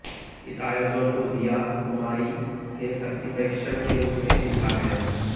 इस आयोजन को दीया कुमारी के शक्ति परीक्षण के रूप में देखा गया